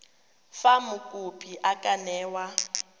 fa mokopi a ka newa